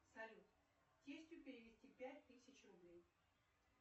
салют тестю перевести пять тысяч рублей